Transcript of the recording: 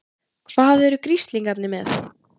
HVAÐ ERU GRISLINGARNIR MEÐ?